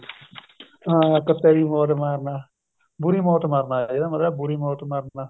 ਹਾਂ ਕੁੱਤੇ ਦੀ ਮੌਤ ਮਾਰਨਾ ਬੁਰੀ ਮੋਤ ਮਰਨਾ ਇਹਦਾ ਮਤਲਬ ਬੁਰੀ ਮੌਤ ਮਰਨਾ